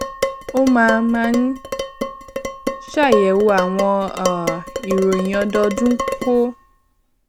ó máa máa ń ṣàyèwò àwọn um ìròyìn ọdọọdún kó